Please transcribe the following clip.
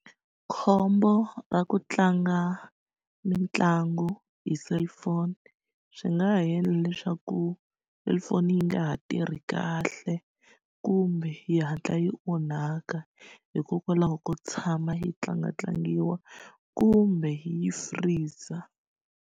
Khombo ra ku tlanga mitlangu hi cellphone swi nga ha endla leswaku cellphone yi nga ha tirhi kahle kumbe yi hatla yi onhaka hikokwalaho ko tshama yi tlangatlangiwa kumbe yi freezer.